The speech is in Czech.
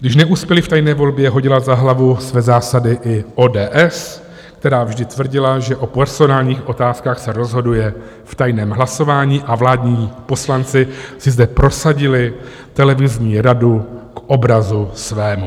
Když neuspěli v tajné volbě, hodila za hlavu své zásady i ODS, která vždy tvrdila, že o personálních otázkách se rozhoduje v tajném hlasování a vládní poslanci si zde prosadili televizní radu k obrazu svému.